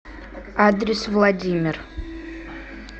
адрес владимир